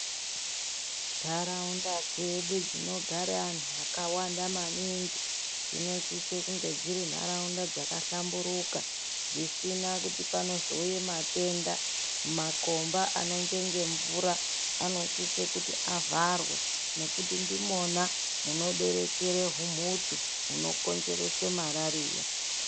Ntaraunda dzedu dzinogara antu akawanda maningi. Dzinosise kunge dziri ntaraunda dzakahlamburuka dzisina kuti panozouye matenda. Makomba anonjenge mvura anosise kuti avharwe nekuti ndimona munoberekere humhutu hunokonzeredse marariya.